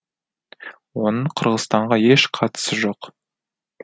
оның қырғызстанға еш қатысы жоқ